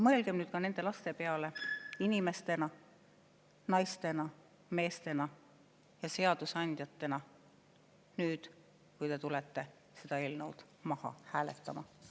Mõelge nende laste peale inimestena, naistena, meestena ja seadusandjatena, kui te tulete seda eelnõu maha hääletama.